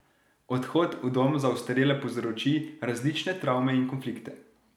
Odhod v dom za ostarele povzroči različne travme in konflikte.